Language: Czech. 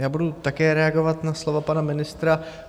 Já budu také reagovat na slova pana ministra.